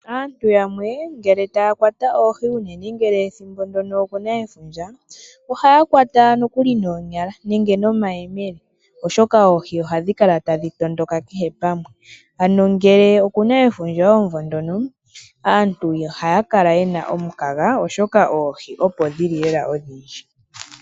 Aantu yamwe ngele taya kwata oohi ngele ethimbo ndono okuna efundja, ohaya kwata nokuli noonyala nenge nomayemele oshoka oohi ohadhi kala tadhi tondondoka kehe pamwe. Ano ngele okuna efundja omumvo ngono aantu ihaya kala yena omukaga, oshoka oohi opo dhili lela odhindji.